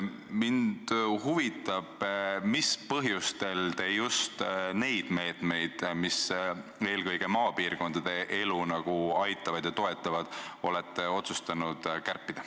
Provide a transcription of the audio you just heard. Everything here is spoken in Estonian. Mind huvitab, mis põhjustel te just neid meetmeid, mis aitavad ja toetavad eelkõige maapiirkondade elu, olete otsustanud kärpida.